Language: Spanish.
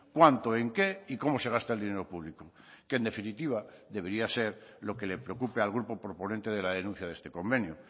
cuánto en qué y cómo se gasta el dinero público que en definitiva debería ser lo que le preocupe al grupo proponente de la denuncia de este convenio